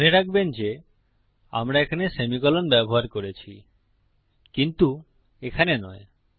মনে রাখবেন যে আমরা এখানে সেমিকোলন ব্যবহার করেছি কিন্তু এখানে নয়